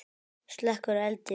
Slekkur eldinn.